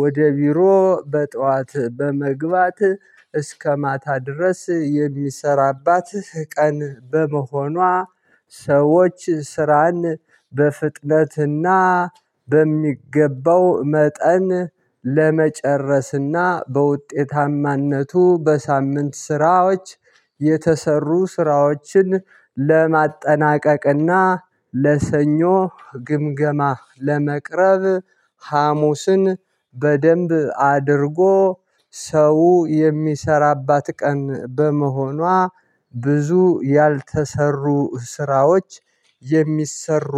ወደ ቢሮ በጧት በመግባት እስከ ማታ ድረስ የሚሰራባት ቀን በመሆኗ። ሰዎች ስራን በፍጥነትና በሚገባው መጠን ለመጨረስና በውጤታማነቱ በሳምንት ስራዎች የተሰሩ ስራዎችን ለማጠናቀቅና ለሰኞ ግምገማ ለመቅረብ ሀሙስን በደንብ አድርጎ ሰው የሚሰራባት ቀን በመሆኗ። ብዙ ያልተሰሩ ስራዎች የሚሰሩ